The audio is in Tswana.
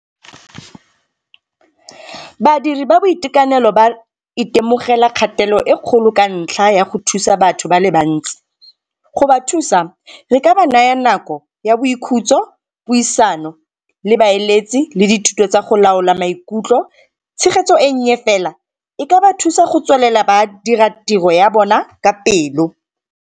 Badiri ba boitekanelo ba itemogela kgatelo e kgolo ka ntlha ya go thusa batho ba le bantsi. Go ba thusa re ka ba naya nako ya boikhutso, puisano le baeletsi le dithuto tsa go laola maikutlo. Tshegetso e nnye fela e ka ba thusa go tswelela ba dira tiro ya bona ka pelo.